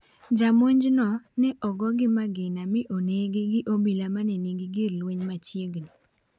Ja monjno ne ogo gi magina mi onegi gi obila mane nigi gir lweny machiegini.